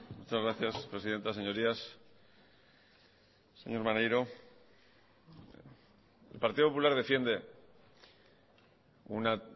muchas gracias presidenta señorías señor maneiro el partido popular defiende una